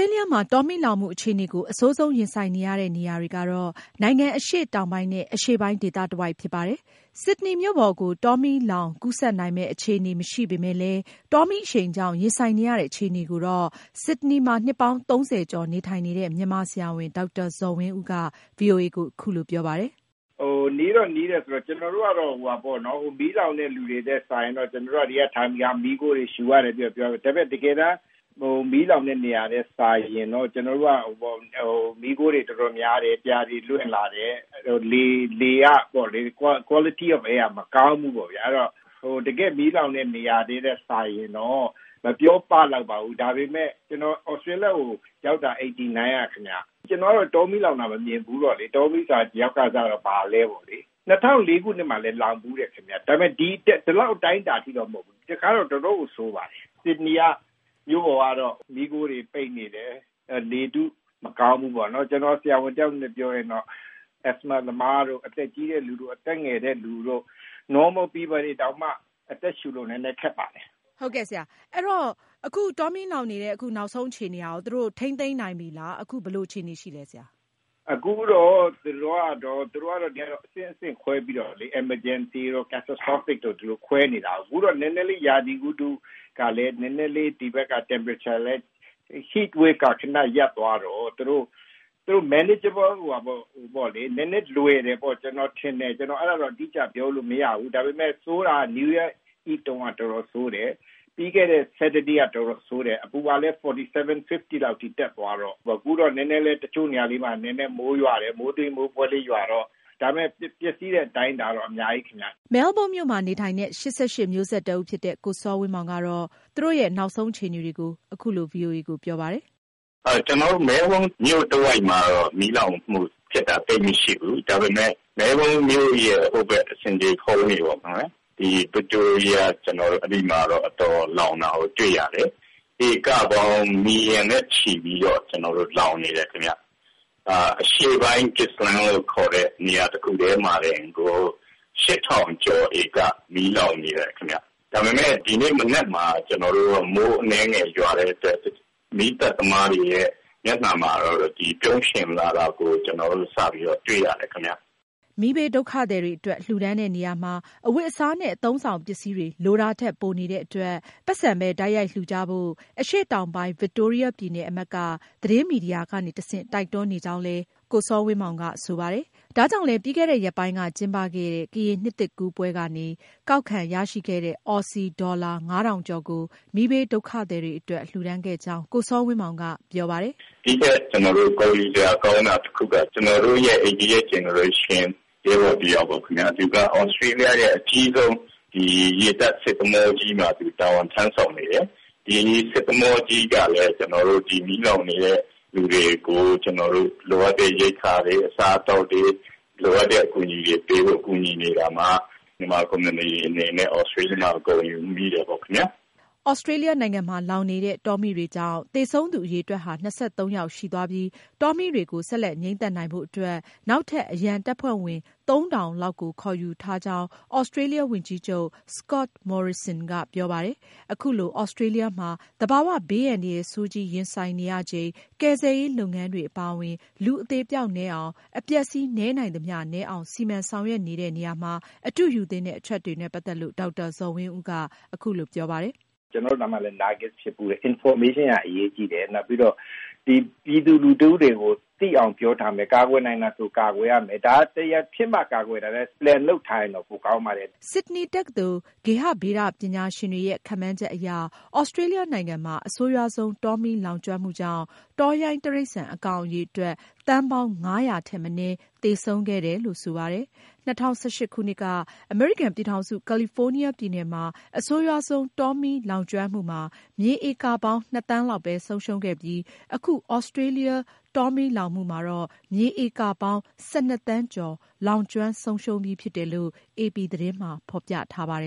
ေးလျမှာ တောမီးလောင်မှုအခြေအနေကို အဆိုးဆုံးရင်ဆိုင်နေရတဲ့နေရာတွေကတော့ နိုင်ငံအရှေ့တောင်ပိုင်းနဲ့ အရှေ့ပိုင်း ဒေသတဝိုက်ဖြစ်ပါတယ်။ ဆစ်ဒနီမှာ နှစ်ပေါင်း ၃၀ ကျော်နေထိုင်နေတဲ့ မြန်မာဆရာဝန် ဒေါက်တာဇော်ဝင်းဦးကတော့ ဆစ်ဒနီမြို့ပေါ်ကို တောမီးလောင် ကူးဆက်နိုင်မယ့် အခြေအနေမရှိပေမယ့် တောမီးအရှိန်ကြောင့် ရင်ဆိုင်နေရတဲ့ အခြေအနေကို ဗွီအိုအေကို အခုလိုပြောပါတယ်။ “နီးတော့ နီးပေမယ့် ကျနော်တို့ကတော့ မီးလောင်တဲ့နေရာနဲ့ယှဉ်ရင်တော့ မီးခိုငွေ့တွေ ရှုနေရတာပေါ့။ မီးခိုတွေ တော်တော်များတယ်။ ပြာတွေ လွင့်လာတယ်။ Quality of air က မကောင်းဘူးပေါ့။ ဒါပေမယ့် ကျနော် သြစတြေးလျကို ရောက်တာ ၁၉၈၉ခုနှစ်ကပါ။ ရောက်ခါစက တောမီးလောင်တာ မမြင်ဘူးတော့။ ရောက်ခါစက ဘာလဲပေါ့လေ။ ၂၀၀၄ခုနှစ်မှာလည်း လောင်ဘူးပါတယ်။ ဒါပေမယ့် ဒီလောက်အတိုင်းအတာအထိတော့ မဟုတ်ဘူး။ ဒီတခါတော့ တော်တော့်ကို ဆိုးပါတယ်။ ဆစ်ဒနီမြို့ပေါ်မှာ မီးခိုငွေ့တွေနဲ့ ပိတ်နေတယ်။ လေထု မကောင်းဘူး။ အခုအခြေအနေက သာမန်လူတွေတောင် အသက်ရှူဖို့ ခက်ပါတယ်။” မေး။ ။ အဲခု တောမီးလောင်မှုကို ထိန်းချုပ်နိုင်တဲ့ အနေအထားရှိပြီလားဆရာ။ ဖြေ။ ။ သူတို့ကတော့ အဆင့်လိုက်ခွဲပြီးတော့ Emergency၊ Catastrophic တို့ဆိုပြီးခွဲနေတာ။ အခုလောလောဆယ် အပူလှိုင်းက နဲနဲရပ်သွားတော့ သူတို့အတွက် နဲနဲသက်သာမယ်ထင်တယ်။ အတော်လေးဆိုးတာကတော့ နယူးရီးယားမတိုင်ခင်ညက ဆိုးပြီးတော့၊ ပြီးခဲ့တဲ့ စနေနေ့ကလည်း အတော်လေးဆိုးတယ်။ အပူကလည်း ၄၇-၅၀ ဒီဂရီစင်တီဂရိတ် ထိတက်သွားတယ်။ အခုတော့ မိုးနဲနဲရွာတယ်။ ဒါပေမယ့် ပျက်စီးဆုံးရှုံးတာကတော့ အများကြီးပါပဲ။ တောင်ပိုင်း မဲလ်ဘုန်းမြို့မှာ နေထိုင်တဲ့ ၈၈မျိုးဆက်တဦးဖြစ်တဲ့ ကိုစောဝင်းမောင်က နောက်ဆုံးအခြေအနေတွေကို အခုလို ဗွီအိုအေကို ပြောပြပါတယ်။ “ကျနော်တို့ မဲလ်ဘုန်းတဝိုက်မှာတော့ မီးလောင်မှုဖြစ်တာ သိပ်မရှိဘူး။ ဒါပေမယ့် မြို့ရဲ့ ဆင်ခြေဖုန်းဘက် ဗစ်တိုးရီးယားမှာ အတော်လောင်တာကို တွေ့ရတယ်။ မြေဧကပေါင်း သန်းနဲ့ ချီ လောင်နေတယ်။ ဒါပေမယ့် ဒီနေ့မနက်မှာ မိုးအနည်းငယ်ရွာတဲ့အတွက် မီးသတ်သမားတွေရဲ့ မျက်နှာမှာ ပြုံးရွှင်လာတာတော့ တွေ့ရတယ်။” မီးဘေးဒုက္ခသည်တွေအတွက် လှူဒါန်းတဲ့နေရာမှာ အဝတ်အစားနဲ့ အသုံးအဆောင်ပစ္စည်းတွေ လိုတာထက် ပိုနေတဲ့အတွက် ပိုက်ဆံပဲ တိုက်ရိုက် လှူကြဖို့ အရှေ့တောင်ပိုင်း ဗစ်တိုးရီးယားပြည်နယ်အမတ်က သတင်းမီဒီယာကတဆင့် တိုက်တွန်းနေကြောင်းလည်း ကိုစောဝင်းမောင်က ဆိုပါတယ်။ ဒါကြောင့်လည်း ပြီးခဲ့ရက်ပိုင်းက ကျင်းပခဲ့တဲ့ ကရင်နှစ်သစ်ကူးပွဲကနေ ကောက်ခံရရှိခဲ့တဲ့ သြစီဒေါ်လာ ငါးထောင်ကျော်ကို မီးဘေးဒုက္ခသည်တွေအတွက် လှူဒါန်းခဲ့ကြောင်း ကိုစောဝင်းမောင်က ပြောပါတယ်။ “ နောက်ထပ် ဂုဏ်ယူစရာကောင်းတာကတော့ ကျနော်တို့ ၈၈ မျိုးဆက်ရဲဘော်တယောက်က သြစတြေးလျနိုင်ငံရဲ့ အကြီးဆုံးရေတပ်သင်္ဘောကြီးမှာ တာဝန်ထမ်းဆောင်နေတယ်။ အဲဒီသင်္ဘောကြီးက အခု မီးဘေးဒုက္ခသည်တွေအတွက် လိုအပ်တဲ့ ရိက္ခာတွေ၊ အစားအသောက်တွေ၊ လိုအပ်တဲ့ အကူအညီတွေပေးနေတော့ မြန်မာအသိုင်းအဝိုင်းအနေနဲ့လည်း ဂုဏ်ယူပါတယ်။” သြစတြေးလျနိုင်ငံမှာလောင်နေတဲ့ တောမီးတွေကြောင့် သေဆုံးသူ အရေအတွက်ဟာ ၂၃ ယောက် ရှိသွားပြီး၊ တောမီးတွေကို ဆက်လက်ငြိမ်းသတ်နိုင်ဖို့အတွက် နောက်ထပ်အရန်တပ်ဖွဲ့ဝင် သုံးထောင်လောက်ကို ခေါ်ယူထားကြောင်း သြစတြေးလျဝန်ကြီးချုပ် Scott Morrison ကပြောပါတယ်။ အခုလို သြစတြေးလျမှာ သဘာဝဘေးအန္တရာယ်ဆိုးကြီးရင်ဆိုင်နေရချိန် ကယ်ဆယ်ရေးလုပ်ငန်းတွေအပါအဝင် လူအသေအပျောက်နည်းအောင်၊ အပျက်အစီး နည်းနိုင်သမျှနည်းအောင် စီမံဆောင်ရွက်နေတဲ့နေရာမှာ အတူယူသင့်တဲ့ အချက်တွေနဲ့ပတ်သက်လို့ ဒေါက်တာ ဇော်ဝင်းဦးက အခုလိုပြောပါတယ်။ “ information ရဖို့အရေးကြီးတယ်။ ပြည်သူလူထုတွေသိအောင် ပြောထားရမယ်။ ကာကွယ်နိုင်ရင် ကာကွယ်ရမယ်။ ဖြစ်မှာလုပ်တာထက် အစီအစဉ်ကြိုလုပ်ထားရင် ပိုကောင်းပါတယ်။” ဆစ်ဒနီတက္ကသိုလ် ဂေဟဗေဒပညာရှင်တွေရဲ့ ခန့်မှန်းချက်အရ သြစတြေးလျနိုင်ငံမှာ အဆိုးရွားဆုံး တောမီးလောင်ကျွမ်းမှုကြောင့် တောရိုင်းတိရစ္ဆာန်အကောင်အရေတွက် သန်းပေါင်း ၅၀၀ ထက်မနည်း သေဆုံးခဲ့တယ်လို့ ဆိုပါတယ်။ ၂၀၁၈ခုနှစ်က အမေရိကန်ပြည်ထောင်စု ကာလီဖိုးနီးယားပြည်နယ်မှာ အဆိုးရွားဆုံး တောမီးလောင်ကျွမ်းမှုမှာ မြေဧကပေါင်း ၂ သန်းလောက်ပဲ ဆုံးရှုံးခဲ့ပြီး အခု သြစတြေးလျ တောမီးလောင်မှုမှာ မြေဧကပေါင်း ၁၂ သန်းကျော် လောင်ကျွမ်းဆုံးရှုံးပြီးဖြစ်တယ်လို့ အေပီသတင်းမှာ ဖေါ်ပြထားပါ